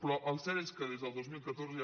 però el cert és que des del dos mil catorze